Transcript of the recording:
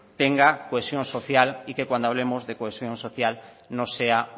tenga una cohesión social y que cuando hablemos de cohesión social no sea